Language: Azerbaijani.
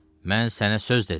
Mən sənə söz dedim.